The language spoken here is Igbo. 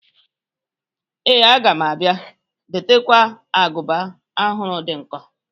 Ee, aga m abia. Biko dotekwa agụba ọhụrụ dị nkọ